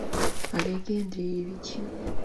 олеге андреевиче